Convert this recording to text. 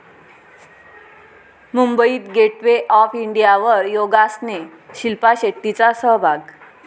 मुंबईत gateway of इंडियावर योगासने, शिल्पा शेट्टीचा सहभाग